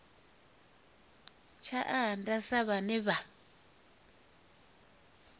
tsha nnda sa vhane vha